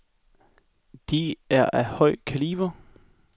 De er af høj kaliber.